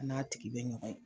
An n'a tigi be ɲɔgɔn ye.